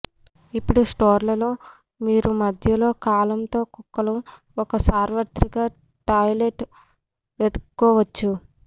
ఇప్పుడు స్టోర్లలో మీరు మధ్యలో కాలమ్ తో కుక్కలు ఒక సార్వత్రిక టాయిలెట్ వెదుక్కోవచ్చు